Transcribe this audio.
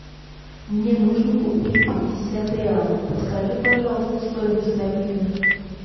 мне нужно купить пятьдесят реалов подскажи пожалуйста стоимость обмена